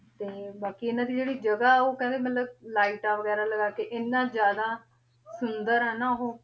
ਤੇ ਬਾਕ਼ੀ ਇਨਾਂ ਦੀ ਜੇਰੀ ਜਗਾ ਓਊ ਕੇਹ੍ਨ੍ਡੇ ਮਤਲਬ ਲਿਘ੍ਤਾਂ ਵੇਗਿਰਾ ਲਗਾ ਕੇ ਏਨਾ ਜਿਆਦਾ ਸੁੰਦਰ ਆ ਨਾ